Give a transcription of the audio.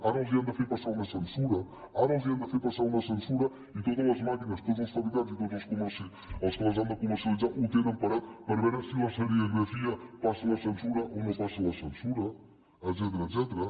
ara els han de fer passar una censura ara els han de fer passar una censura i totes les màquines tots els fabricants i tots els que les han de comercialitzar ho tenen parat per veure si la serigrafia passa la censura o no passa la censura etcètera